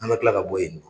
An ka kila ka bɔ yen nɔ